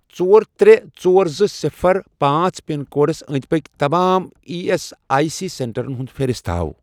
ژور ترٛےٚ ژور زٕ صِفر پانٛژھ پِن کوڈس انٛدۍ پٔکۍ تمام ای ایس آی سی سینٹرن ہٕنٛز فہرست ہاو۔